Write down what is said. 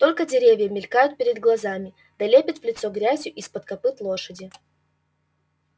только деревья мелькают перед глазами да лепит в лицо грязью из-под копыт лошади